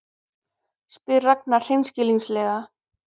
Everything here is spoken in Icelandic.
spyr Ragna hreinskilnislega.